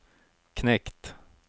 knekt